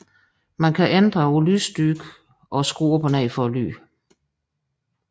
Man kan ændre på lysstyrken og skrue op eller ned for lyden